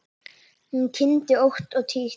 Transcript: Hún kyngdi ótt og títt.